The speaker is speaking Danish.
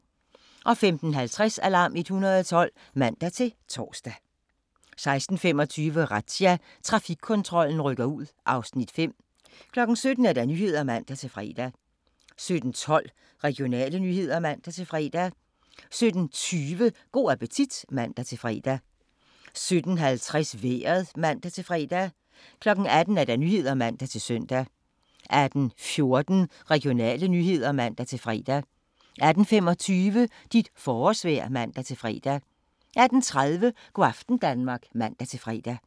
15:50: Alarm 112 (man-tor) 16:25: Razzia – Trafikkontrollen rykker ud (Afs. 5) 17:00: Nyhederne (man-fre) 17:12: Regionale nyheder (man-fre) 17:20: Go' appetit (man-fre) 17:50: Vejret (man-fre) 18:00: Nyhederne (man-søn) 18:14: Regionale nyheder (man-fre) 18:25: Dit forårsvejr (man-fre) 18:30: Go' aften Danmark (man-fre)